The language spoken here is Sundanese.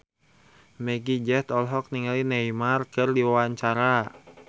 Meggie Z olohok ningali Neymar keur diwawancara